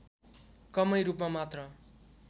कमै रूपमा मात्र